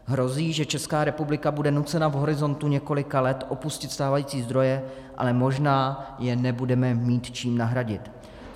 Hrozí, že Česká republika bude nucena v horizontu několika let opustit stávající zdroje, ale možná je nebudeme mít čím nahradit.